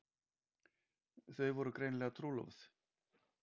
Þau voru greinilega trúlofuð.